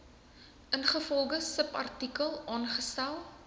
ingevolge subartikel aangestel